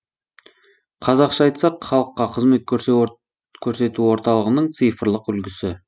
қазақша айтсақ халыққа қызмет көрсету орталығының цифрлық үлгісі